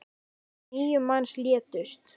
Níu manns létust.